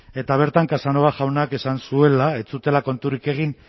eta bertan casanova jaunak esan zuela ez zutela konturik egin